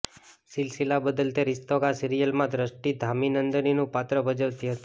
સિલસિલા બદલતે રિશ્તો કા સિરિયલમાં દ્રષ્ટિ ધામી નંદિનીનું પાત્ર ભજવતી હતી